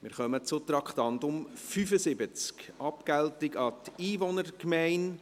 Wir kommen zum Traktandum 75, Abgeltung an die Einwohnergemeinde.